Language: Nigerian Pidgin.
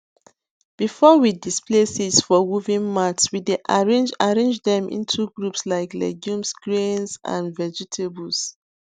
before we display seeds for woven mats we dey arrange arrange dem into groups like legumes grains and vegetables